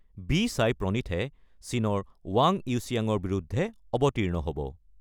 B Sai প্ৰনীথে চীনৰ ৱাং ইউচিয়াঙৰ বিৰুদ্ধে অৱতীৰ্ণ হ'ব।